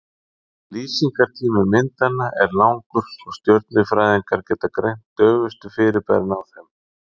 Lýsingartími myndanna er langur og stjörnufræðingar geta greint daufustu fyrirbærin á þeim.